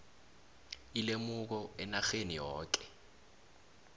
ilemuko enarheni yoke